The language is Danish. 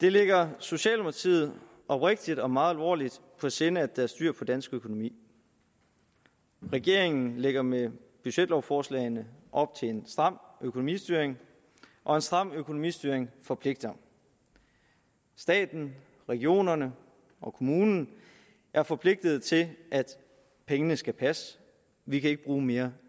det ligger socialdemokratiet oprigtigt og meget alvorligt på sinde at der er styr på dansk økonomi regeringen lægger med budgetlovforslagene op til en stram økonomistyring og en stram økonomistyring forpligter staten regionerne og kommunerne er forpligtede til at pengene skal passe vi kan ikke bruge mere